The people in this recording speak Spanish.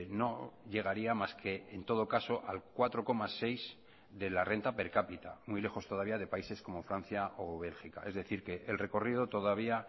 no llegaría más que en todo caso al cuatro coma seis de la rentaper capita muy lejos todavía de países como francia o bélgica es decir que el recorrido todavía